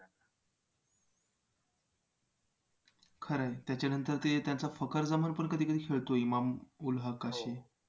खरं आहे त्याच्यानंतर ते त्यांचा फखर जमनपण कधी कधी खेळतो इमाम उल हक असे.